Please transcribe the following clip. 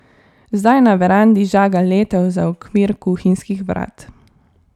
Zdaj na verandi žaga letev za okvir kuhinjskih vrat.